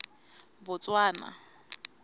botswana